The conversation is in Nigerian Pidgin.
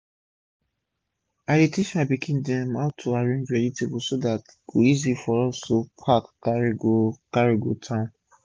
i dey teach my pikin dem how to arrange vegetable so dat e go easy for us to pack carry go carry go town